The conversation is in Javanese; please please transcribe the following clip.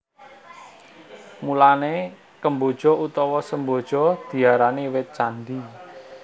Mulané kemboja utawa semboja diarani wit candhi